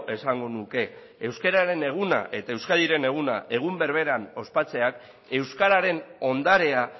esango nuke euskararen eguna eta euskadiren eguna egun berberean ospatzeak euskararen ondarea